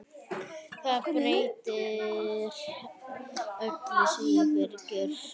Það breytir öllu, segir Birkir.